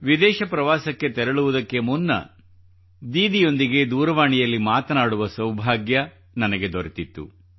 ವಿದೇಶ ಪ್ರವಾಸಕ್ಕೆ ತೆರಳುವುದಕ್ಕೆ ಮುನ್ನ ದೀದಿಯೊಂದಿಗೆ ದೂರವಾಣಿಯಲ್ಲಿ ಮತನಾಡುವ ಸೌಭಾಗ್ಯ ನನಗೆ ದೊರೆತಿತ್ತು